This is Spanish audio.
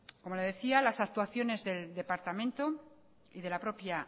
como le decía las actuaciones del departamento y de la propia